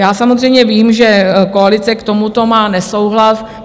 Já samozřejmě vím, že koalice k tomuto má nesouhlas.